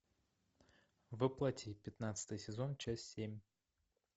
во плоти пятнадцатый сезон часть семь